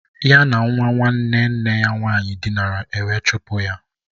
Ya na nwa nwanne nne ya nwaanyị dinara, ewe chụpụ ya